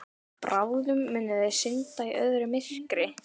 Bráðum munu þau synda í öðru myrkri.